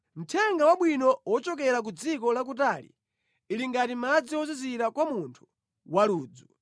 Mthenga wabwino wochokera ku dziko lakutali ali ngati madzi ozizira kwa munthu waludzu.